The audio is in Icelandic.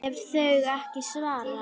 ef þau ekki svara